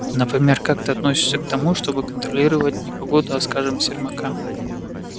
например как ты относишься к тому чтобы контролировать не погоду а скажем сермака